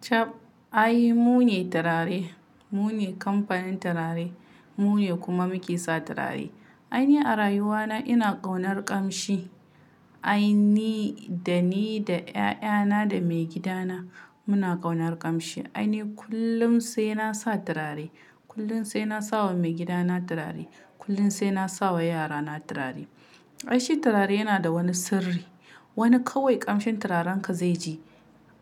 Chab ai mu ne turare, mu ne kamfanin turare, mu ne kuma muke sa turare. Ai ni a rayuwa na ina ƙaunar ƙamshi. Ai ni, da ni da 'ya'yana da maigidana muna kaunar ƙamshi. Ai ni kullum sai nasa turare, kullum sai nasa wa maigidana turare, kullum sai nasa wa yarana turare. Ai shi turare yana da wani sirri. Wani kawai ƙamshin turarenka zai ji,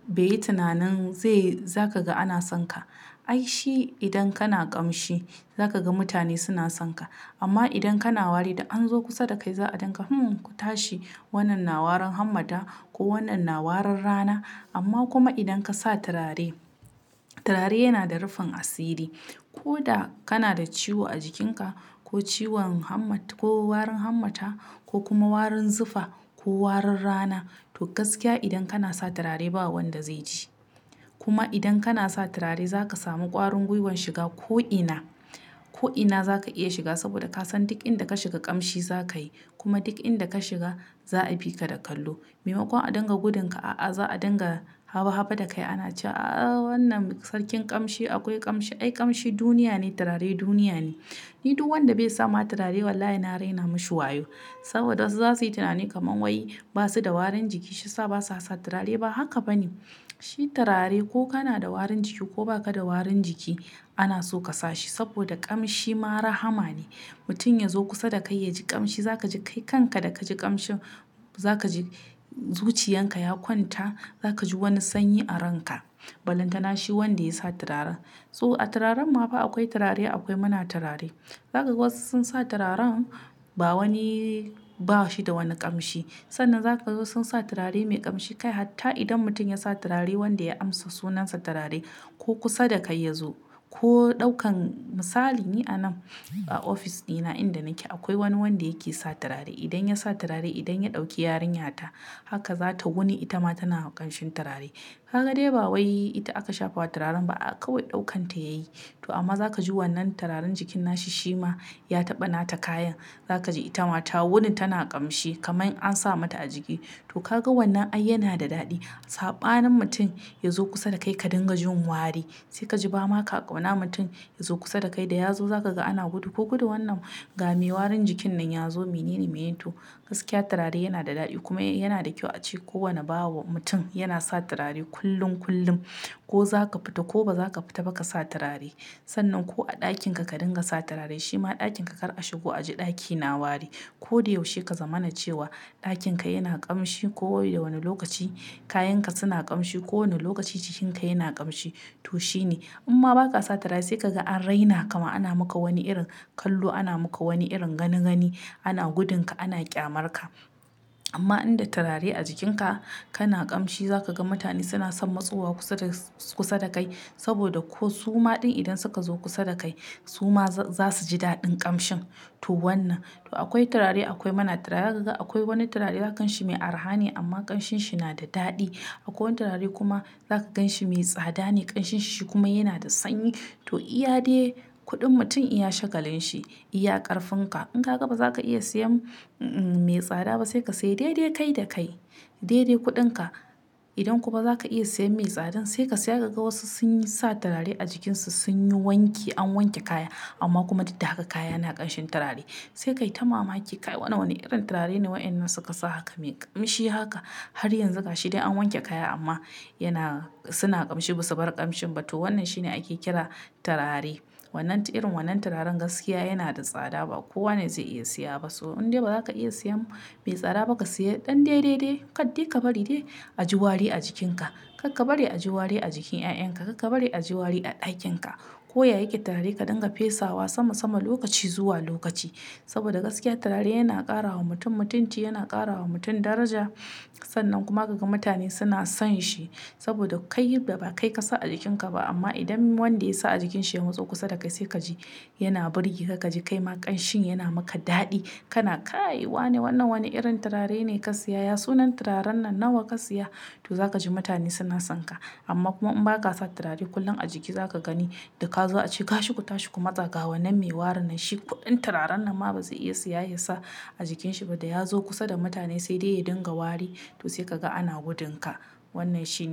bai yi tunanin zai-- zaka ga ana sonka. Ai shi idan kana ƙamshi, za ka ga mutane suna sonka. Amma idan kana wari da an zo kusa da kai za a dunga hmm ku tashi wannan na warin hannata ko wannan na warin rana. Amma kuma idan kasa turare, turare yana da rufin asiri. Ko da kana da ciwo a jikinka ko ciwon hmmat-- ko warin hammata ko kuma warin zufa ko warin rana to gaskiya idan kana sa turare ba wanda zai ji. Kuma idan kana sa turare za ka samu ƙwarin guiwan shiga ko ina. Ko ina za ka iya shiga saboda ka san duk inda ka shiga ƙamshi za ka yi. Kuma duk inda ka shiga za a bi ka da kallo. Maimakon a dingna gudunka a'a za a dingna haba haba da kai. Ana cewa a'a wannan sarkin ƙamshi akwai ƙamshi. Ai ƙamshi duniya ne, turare duniya ne. Ni duk wanda bai sa ma turare wallahi na raina mashi wayo. Saboda wasu za su yi tunani kaman wai ba su da warin jiki shiyasa basa sa turare ba. Ba haka ba ne. Shi turare ko kana da warin jiki ko baka da warin jiki ana so ka sa shi. Saboda ƙamshi ma rahama ne. Mutum ya zo kusa da kai yaji ƙamshi za ka ji kai kanka da ka ji ƙamshin za ka ji zuciyarka ya kwanta, za ka ji wani sanyi a ranka. Balantana shi wanda ya sa turare. To a turaren ma ba akwai turare akwai muna turare. Zaka ga wasu sun sa turaren ba wani-- ba shi da wani ƙamshi. Sannan za ka ga wasu sun sa turare mai ƙamshi kai hatta idan mutum ya sa turare wanda ya amsa sunansa turare ko kusa da kai ya zo ko ɗaukan misali ni anan a ofis ɗina inda nake akwai wani wanda yake sa turare. Idan ya sa turare, idan ya ɗauki yarinyata haka za ta wuni ita ma tana ƙamshin turare. Kaga dai ba wai ita aka shafa wa turaren ba aa kawai ɗaukanta yayi. To amma za ka ji wannan turaren jikin nashi shi ma ya taɓa nata kayan. Za ka ji ita ma ta wuni tana ƙamshi kaman an sa mata a jiki. To kaga wannan ai yana da daɗi. Saɓanin mutum ya zo kusa da kai ka dinga jin wari sai ka ji ba ma ka ƙauna mutum ya zo kusa da kai da ya zo za ka ga ana gudu. Ku gudu wannan ga me warin jikin nan ya zo menene, menene. To gaskiya turare yana da daɗi kuma yana da kyau a ce kowane bawa mutum yana sa turare kullum kullum. Ko za ka fita ko ba za ka fita ba ka sa turare. Sannan ko a ɗakinka ka dinga sa turare shi ma ɗakinka kar a shigo a ji ɗaki na wari. Ko da yaushe ka zama na cewa ɗakin ka yana ƙamshi ko da wane lokaci kayanka suna ƙamshi ko wane lokaci jikinka yana ƙamshi to shine. In ma ba ka sa turare sai ka ga an raina ka ma ana maka wani irin kallo, ana maka wani irin gani gani, ana gudunka, ana ƙyamarka. Amma idan da turare a jikinka kana ƙamshi za ka ga mutane suna son matsuwa kusa da, kusa da kai. Saboda ko su ma din idan suka zo kusa da kai su ma za su ji daɗin ƙamshin. To wannan. To akwai turare akwai muna turare. Za ka ga akwai wani turare za ka gan shi mai araha ne amma ƙanshinshi na da daɗi. Akwai wani turare kuma za ka ganshi me tsada ne ƙanshinshi kuma yana da sanyi. To iya de kuɗin mutum iya shagalin shi, iya ƙarfin ka. In ka ga ba za ka iya siyan m-- mai tsada ba sai ka sayi dai dai kai da kai. Dai dai kuɗinka. Idan kuma ba za ka iya siyan mai tsadan sai ka siya ka ga wasu sun yi sa turare a jikin su sun yi wanki an wanke kaya amma kuma duk da haka kaya na ƙanshin turare. Sai ka yi ta mamaki kai wannan wane irin turare ne waɗannan suka sa haka me ƙamshi haka har yanzu ga shi dai an wanke kaya amma yana suna ƙamshi ba su bar ƙamshin ba. To wannan shine ake kira turare. Wannan tu irin wannan turaren gaskiya yana da tsada ba kowane zai iya siya ba. So in dai ba za ka iya siyan mai tsada ba ka siya ɗan dai dai dai kaddai ka bari dai a ji wari a jikinka. Karka bari a ji wari a jikin 'ya'yanka. Karka bari a ji wari a ɗakin ka. Ko ya yake turare ka dinga fesawa sama sama lokaci zuwa lokaci. Saboda gaskiya turare yana ƙara wa mutum mutunci, yana ƙara wa mutum daraja. Sannan kuma ka ga mutane suna son shi. Saboda kai da ba kai ka sa a jikinka ba amma idan wanda ya sa a jikin shi ya matso kusa da kai sai ka ji yana burge ka. Ka ji kai ma ƙanshin yana muka daɗi. Kana kayi wa ne wannan wane irin turare ne ka siya ya sunan turaren nan nawa ka siya? To za ka ji mutane suna sonka. Amma kuma in ba ka sa turare kullum a jiki za ka gani da ka zo a ci gashi ku tashi ku matsa ga wannan mai warin nan shi ku ɗan turaren nan ma ba zai iya siya ya sa a jikin shi ba. Da ya zo kusa da mutane sai dai ya dinga wari to sai ka ga ana gudun ka. Wannan shi ne turare.